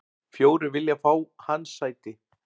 Fjórir vilja fá hans sæti.